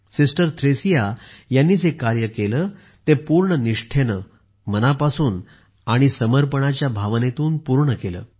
सिस्टरथ्रेसिया यांनी जे कार्य केले ते पूर्ण निष्ठेने मनापासून आणि समर्पणाच्या भावनेतून पूर्ण केले